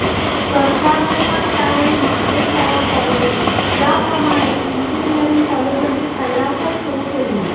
सरकारने पण त्यावेळी मागेल त्याला कॉलेज याप्रमाणे इंजिनिअरिंग कॉलेजांची खैरातच सुरू केली